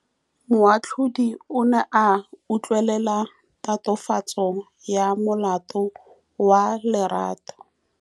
Moatlhodi o ne a utlwelela tatofatsô ya molato wa Lerato.